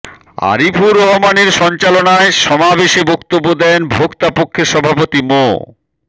আরিফুর রহমানের সঞ্চালনায় সমাবেশে বক্তব্য দেন ভোক্তা পক্ষের সভাপতি মো